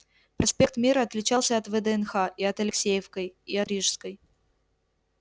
проспект мира отличался и от вднх и от алексеевской и от рижской